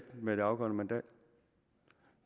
med det afgørende mandat